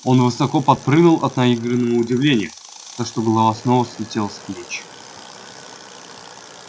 он высоко подпрыгнул от наигранного удивления так что голова снова слетела с плеч